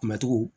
Kunbɛcogo